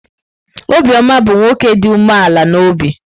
Obioma bụ nwoke dị umeala n'obi.